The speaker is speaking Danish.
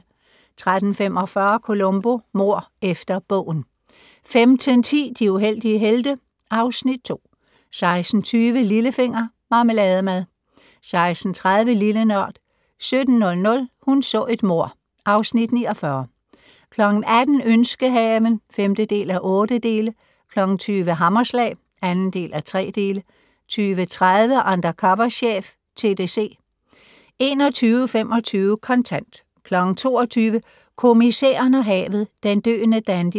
13:45: Columbo: Mord efter bogen 15:10: De uheldige helte (Afs. 2) 16:20: Lillefinger - Marmelademad 16:30: Lille Nørd 17:00: Hun så et mord (Afs. 49) 18:00: Ønskehaven (5:8) 20:00: Hammerslag (2:3) 20:30: Undercover chef - TDC 21:25: Kontant 22:00: Kommissæren og havet: Den døende dandy